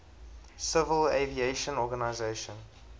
civil aviation organization